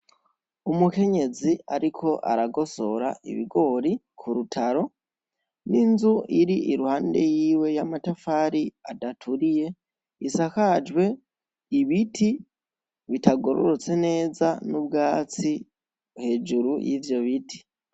Umukenyezi ariko aragosora ibigori ku rutaro, n'inzu iri iruhande yiwe y'amatafari adaturiye isakajwe ibiti bitagirorotse neza n'ubwatsi hejuru y'ivyo biti.